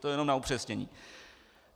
To jenom na upřesnění.